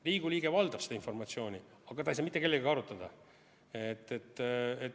Riigikogu liige valdab seda informatsiooni, aga ta ei saa seda mitte kellegagi arutada.